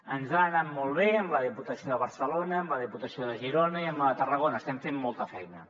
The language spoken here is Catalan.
ens ha anat molt bé amb la diputació de barcelona amb la diputació de girona i amb la de tarragona estem fent molta feina